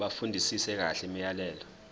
bafundisise kahle imiyalelo